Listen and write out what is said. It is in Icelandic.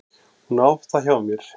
Hún á það hjá mér.